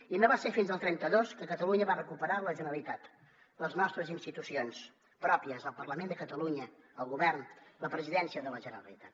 i no va ser fins al trenta dos que catalunya va recuperar la generalitat les nostres institucions pròpies el parlament de catalunya el govern la presidència de la generalitat